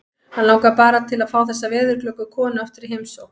Hann langar bara til að fá þessa veðurglöggu konu aftur í heimsókn.